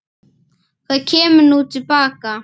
Hvað kemur nú til baka?